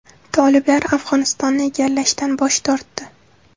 Toliblar Afg‘onistonni egallashdan bosh tortdi.